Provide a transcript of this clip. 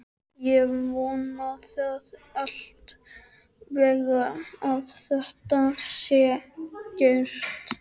ég vona það alla vega að það sé gert